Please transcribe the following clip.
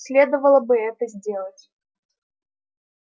следовало бы это сделать